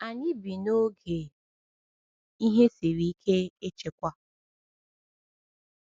Anyị bi n’oge “ihe siri ike ịchịkwa.”